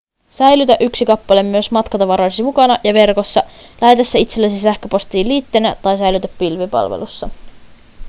säilytä yksi kappale myös matkatavaroidesi mukana ja verkossa lähetä se itsellesi sähköpostin liitteenä tai säilytä pilvipalvelussa